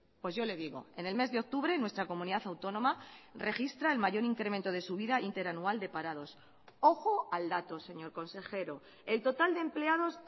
pues yo le digo en el mes de octubre nuestra comunidad autónoma registra el mayor incremento de su vida interanual de parados ojo al dato señor consejero el total de empleados